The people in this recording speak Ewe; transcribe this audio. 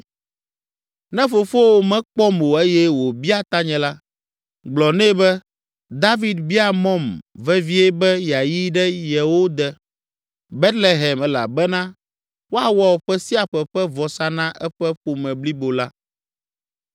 Ne fofowò mekpɔm o eye wòbia tanye la, gblɔ nɛ be, ‘David bia mɔm vevie be yeayi ɖe yewo de, Betlehem elabena woawɔ ƒe sia ƒe ƒe vɔsa na eƒe ƒome blibo la.’